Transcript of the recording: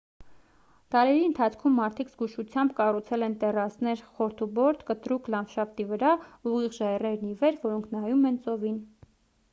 դարերի ընթացքում մարդիկ զգուշությամբ կառուցել են տեռասներ խորդուբորդ կտրուկ լանդշաֆտի վրա ուղիղ ժայռերն ի վեր որոնք նայում են ծովին